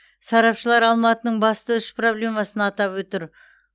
сарапшылар алматының басты үш проблемасын атап отыр